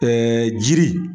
jiri.